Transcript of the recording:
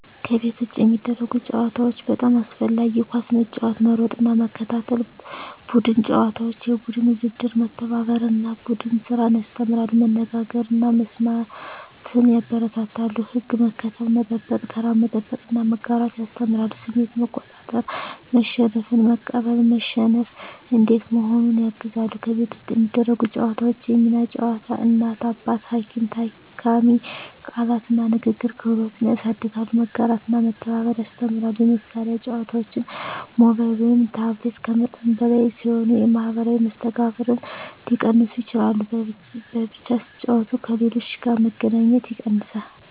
ከቤት ውጭ የሚደረጉ ጨዋታዎች (በጣም አስፈላጊ) ኳስ መጫወት መሮጥና መከታተል ቡድን ጨዋታዎች (የቡድን ውድድር) መተባበርን እና ቡድን ስራን ያስተምራሉ መነጋገርን እና መስማትን ያበረታታሉ ሕግ መከተል፣ መጠበቅ (ተራ መጠበቅ) እና መጋራት ያስተምራሉ ስሜት መቆጣጠር (መሸነፍን መቀበል፣ መሸነፍ እንዴት መሆኑን) ያግዛሉ ከቤት ውስጥ የሚደረጉ ጨዋታዎች የሚና ጨዋታ (እናት–አባት፣ ሐኪም–ታካሚ) ቃላት እና ንግግር ክህሎት ያሳድጋሉ መጋራትና መተባበር ያስተምራሉ የመሳሪያ ጨዋታዎች (ሞባይል/ታብሌት) ከመጠን በላይ ሲሆኑ የማኅበራዊ መስተጋብርን ሊቀንሱ ይችላሉ በብቻ ሲጫወቱ ከሌሎች ጋር መገናኘት ይቀንሳል